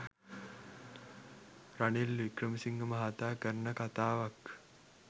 Ranil Wickremesinghe මහාතා කරන කතාවක්.